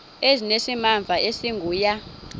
ezinesimamva esingu ya